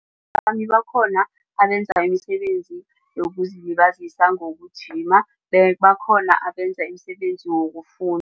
abenza imisebenzi yokuzilibazisa ngokujima bakhona abenza imisebenzi